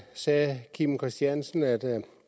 sagde herre kim christiansen at